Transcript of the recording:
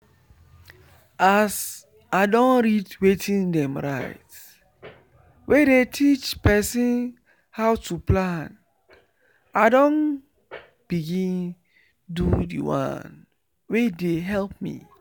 as i don read wetin dem write wey dey teach person how to plan i don begin do the one wey dey help me